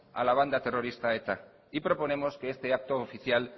a la banda terrorista eta y proponemos que este acto oficial